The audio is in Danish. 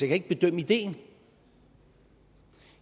kan ikke bedømme ideen